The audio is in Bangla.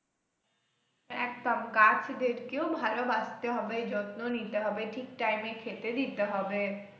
একদম গাছদেরকেও ভালবাসতে হবে, যত্ন নিতে হবে ঠিক time এ খেতে দিতে হবে।